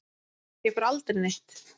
Ég fór aldrei neitt.